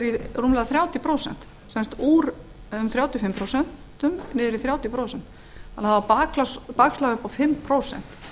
í rúmlega þrjátíu prósent sem sagt úr þrjátíu og fimm prósent niður í þrjátíu prósent þannig að það var bakslag upp á fimm prósent